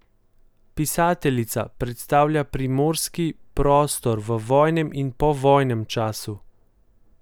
Pisateljica predstavlja primorski prostor v vojnem in povojnem času.